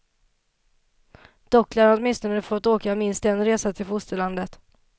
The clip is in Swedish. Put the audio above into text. Dock lär han åtminstone få åka minst en resa till fosterlandet.